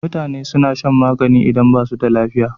Mutane suna shan magani idan basu da lafiya